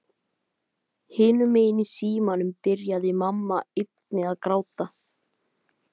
Hinum megin í símanum byrjaði mamma einnig að gráta.